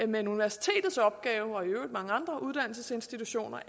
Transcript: men universitetets opgave og i øvrigt mange andre uddannelsesinstitutioners